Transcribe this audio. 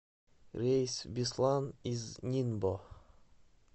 рейс в беслан из нинбо